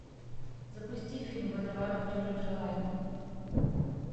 запусти фильм водоворот чужих желаний